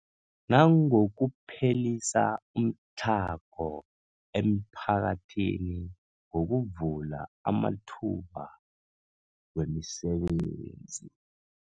Nangokuphelisa umtlhago emiphakathini ngokuvula amathuba wemisebenzi.